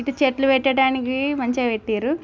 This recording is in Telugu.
ఇటు చెట్లు పెట్టడానికి మంచిగా పెట్టిల్లు.